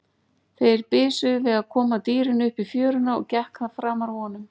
Þeir bisuðu við að koma dýrinu upp í fjöruna og gekk það framar vonum.